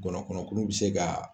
Gɔnɔkɔnɔnkuru bɛ se ka